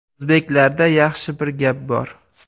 O‘zbeklarda yaxshi bir gap bor.